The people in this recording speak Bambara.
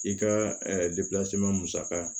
I ka musaka